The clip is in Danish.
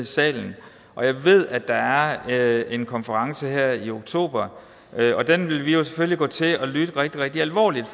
salen og jeg ved at der er en konference her i oktober den vil vi selvfølgelig gå til og lytte rigtig rigtig alvorligt